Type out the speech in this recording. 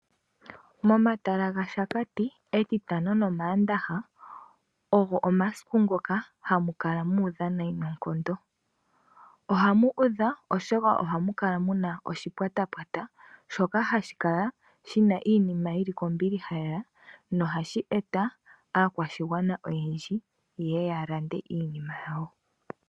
Momatala gaShakati, Etitano nOmaandaha ogo omasiku ngoka hamu kala mu udha nayi noonkondo. Ohamu kala mu udha, oshoka ohamu kala mu na oshipwatapwata, shoka hashi kala shi na iinima yi li kombiliha lela na ohashi eta aakwashigwana oyendji yeye ya lande iinima yawo.